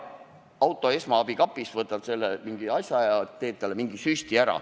Võtad auto esmaabikapist vajaliku asja ja teed talle süsti.